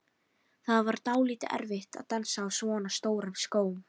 Það var dálítið erfitt að dansa á svona stórum skóm.